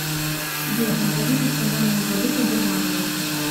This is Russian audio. сбер назови национальную валюту германии